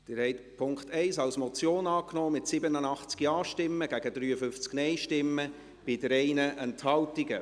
Sie haben den Punkt 1 als Motion angenommen, mit 87 Ja- zu 53 Nein-Stimmen bei 3 Enthaltungen.